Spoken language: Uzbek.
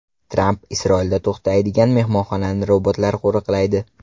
Tramp Isroilda to‘xtaydigan mehmonxonani robotlar qo‘riqlaydi.